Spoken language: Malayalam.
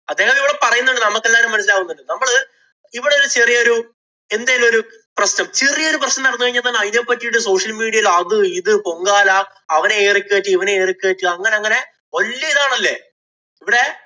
അദ്ദേഹമിവിടെ പറയുന്നുണ്ട് നമ്മക്കെല്ലാവരുക്കും മനസിലാവുന്നുണ്ട്. നമ്മള് ഇവിടെ ചെറിയ ഒരു എന്തേലും ഒരു പ്രശ്നം ചെറിയ ഒരു പ്രശ്നം നടന്നു കഴിഞ്ഞാല്‍ തന്നെ അതിനെ പറ്റീട്ട് social media യില് അത് ഇത് പൊങ്കാല അവനെ air ഇ കേറ്റി, ഇവനെ air ഈ കേറ്റി അങ്ങനെ അങ്ങനെ വല്യ ഇതാണല്ലെ. ഇവിടെ